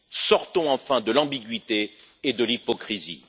Sortons enfin de l'ambiguïté et de l'hypocrisie.